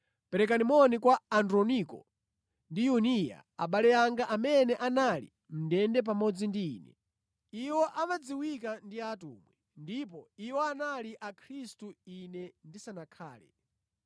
Perekani moni kwa Androniko ndi Yuniya abale anga amene anali mʼndende pamodzi ndi ine. Iwo amadziwika ndi atumwi, ndipo iwo anali mwa Khristu ine ndisanakhale.